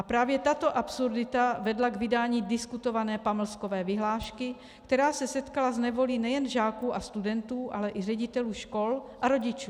A právě tato absurdita vedla k vydání diskutované pamlskové vyhlášky, která se setkala s nevolí nejen žáků a studentů, ale i ředitelů škol a rodičů.